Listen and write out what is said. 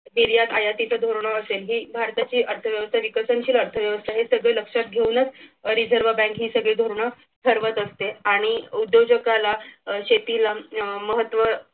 निर्यात आयातीचा धोरण असेल हे भारताची अर्थव्यवस्था विकसनशील अर्थव्यवस्था हे सगळे लक्षात घेऊनच reserve bank ही सगळी धोरण ठरवत असते आणि उद्योजकाला शेतीला अह महत्व